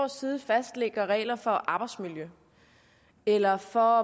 side fastlægger regler for arbejdsmiljø eller for